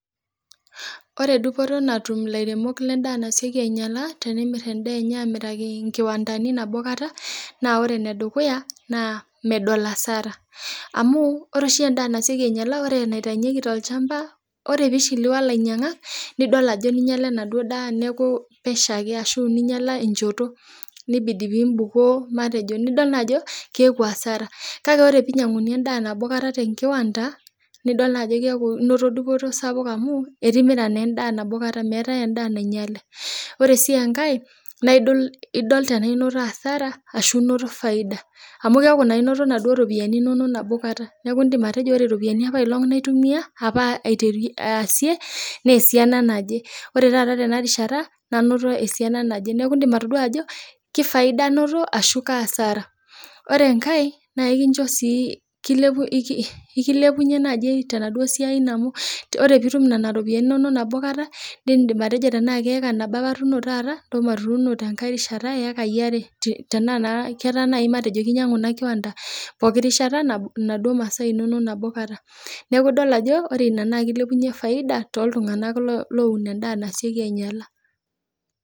Ore dupoto natum elairemok ledaa nasioki ainyialaa naa temir edaiki kiwandani nabo kataa naa ore ene dukuya naa medol hasara amu ore oshi endaa nasioki ainyialaa ore enaitaunyieki tolchamba ore pee eishiliwu alinyiangak nidol Ajo ninyiala enaduo daa neeku pesho ake ninyiala enjoto nibidi pee ebukoo nidol Ajo keeku asara kake ore pee einyianguni endaa nabokata tee nkiwanda nidol naa ajo keeku enoto dupoto sapuk amu etimiraa naa endaa nabo kata meeta endaa nainyiale ore sii enkae na edol tenaa enoto hasara ashu tenaa enoto faida amu keeku enoto eropiani nabo kata neeku edim atejo ore eropiani apailong naitumia apa asie naa esiana naaje oree taata Tena rishata nanoto esiana naje neeku edim atodua atejo kefaida anoto ashu kasara ore enkae naa ekilepunye tenaduo siai eno amh ore pee etum enaduo ropiani enono nabo kata nidim atejo tenaa Kee acre nabo atuno ntasho natuni tenkae rishata eyikai are tenaa naa keeta kinyiangu enaduo kiwanda enaduo masaa enono nabo kata neeku dol Ajo kilepunye faida too iltung'ana oo owun endaa nasioki ainyiala